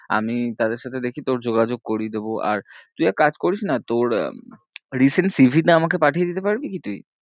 আমি তাদের সাথে দেখি তোর যোগাযোগ করিয়ে দেব আর তুই এক কাজ করিস না তোর recent cv টা আমাকে পাঠিয়ে দিতে পারবি কি তুই?